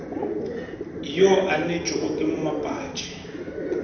yo a neetšwego ke mmapatši